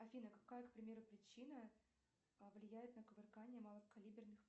афина какая к примеру причина влияет на кувыркание малокалиберных